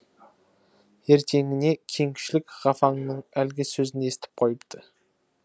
ертеңіне кеңшілік ғафаңның әлгі сөзін естіп қойыпты